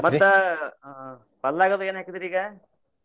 ಮತ್ತ ಆ ಹೊಲ್ದಾಗದು ಏನ ಹಾಕಿದಿರಿ ಈಗ?